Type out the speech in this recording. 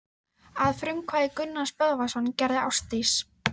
Að frumkvæði Gunnars Böðvarssonar gerði Ásdís